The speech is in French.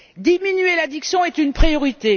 Diminuer l'addiction est une priorité.